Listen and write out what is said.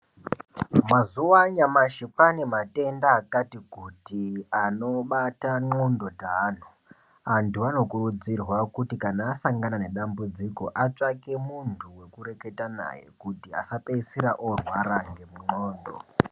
Mazuwa anyamashi kwaane matenda akati kuti anobata ndhlondo dzaaantu vakawanda. Antu anokurudzirwa kuti kana asangana nedambudziko atsvake muntu wekureketa naye kuti asapedzisira orwara ngendxondo.